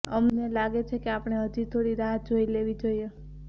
અમને લાગે છે કે આપણે હજી થોડી રાહ જોઇ લેવી જોઇએ